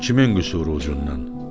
Kimin qüsuru ucundan?